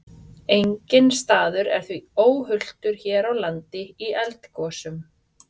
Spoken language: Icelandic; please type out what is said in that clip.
Enginn staður er því óhultur hér á landi í eldgosum.